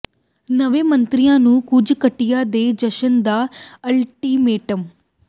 ਨਵੇਂ ਮੰਤਰੀਆਂ ਨੂੰ ਕੁਝ ਘੰਟਿਆਂ ਦੇ ਜਸ਼ਨ ਦਾ ਅਲਟੀਮੇਟਮ